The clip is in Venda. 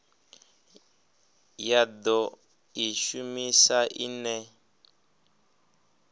ya do i shumisa ine